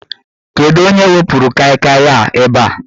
Kedụ onye wepuru Kai Kai a ebe a?